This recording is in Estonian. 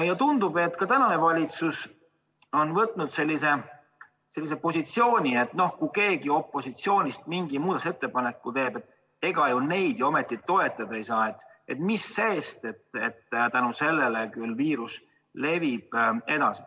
Ja tundub, et ka praegune valitsus on võtnud sellise positsiooni, et kui keegi opositsioonist mingi muudatusettepaneku teeb, ega seda ometi toetada ei saa, mis sest, et viirus levib edasi.